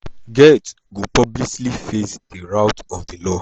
get go publicly face di wrath of di law.